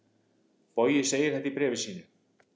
Bogi segir þetta í bréfi sínu: